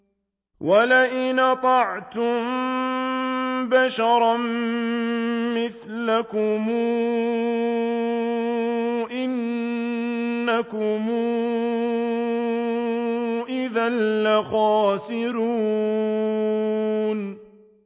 وَلَئِنْ أَطَعْتُم بَشَرًا مِّثْلَكُمْ إِنَّكُمْ إِذًا لَّخَاسِرُونَ